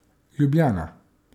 Ljubljana.